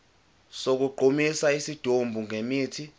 sokugqumisa isidumbu ngemithi